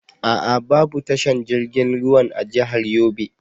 A'a babu tashar jirgin ruwan a jahar Yobe.